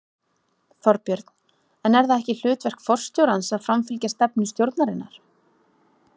Þorbjörn: En er það ekki hlutverk forstjórans að framfylgja stefnu stjórnarinnar?